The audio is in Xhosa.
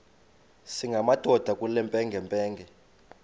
singamadoda kule mpengempenge